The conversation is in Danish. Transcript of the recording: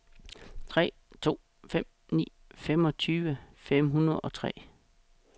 tre to fem ni femogtyve fem hundrede og tre